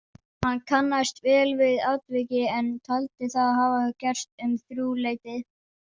Hann kannaðist vel við atvikið en taldi það hafa gerst um þrjúleytið.